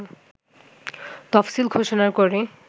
তফসিল ঘোষণা করে